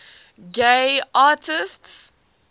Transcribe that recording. gay artists